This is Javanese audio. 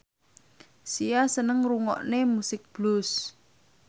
Sia seneng ngrungokne musik blues